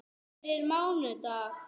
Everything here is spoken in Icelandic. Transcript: Fyrir mánudag?